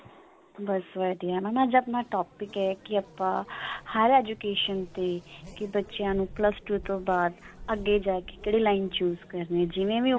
ਬਸ ਵਧੀਆ mam ਅੱਜ ਆਪਣਾ topic ਹੈ ਕੀ ਆਪਾਂ ਹਰ education ਤੇ ਕੀ ਬੱਚਿਆਂ ਨੂੰ plus two ਤੋਂ ਬਾਅਦ ਅੱਗੇ ਜਾ ਕਿ ਕਿਹੜੀ line choose ਜਿਵੇਂ ਵੀ